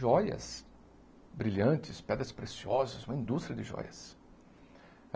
Joias brilhantes, pedras preciosas, uma indústria de joias.